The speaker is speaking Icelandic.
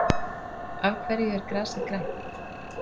Af hverju er grasið grænt?